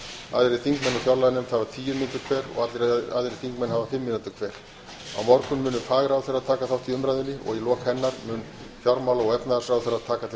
aðrir þingmenn úr fjárlaganefnd hafa tíu mínútur hver og allir aðrir þingmenn hafa fimm mínútur hver á morgun munu fagráðherrar taka þátt í umræðunni og í lok hennar mun fjármála og efnahagsráðherra taka til